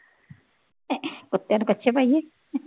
ਕੁੱਤਿਆਂ ਨੂੰ ਕੱਛੇ ਪਾਈਏ